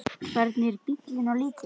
Hvernig er bíllinn á litinn?